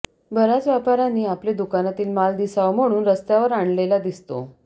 बऱ्याच व्यापाऱ्यांनी आपले दुकानातील माल दिसावा म्हणून रस्त्यावर आणलेला दिसतो